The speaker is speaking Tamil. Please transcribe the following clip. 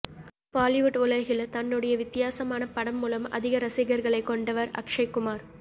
பொலிவூட் உலகில் தன்னுடைய வித்தியாசமான படம் மூலம் அதிக இரசிகர்களை கொண்டவர் அக்ஷய்குமார்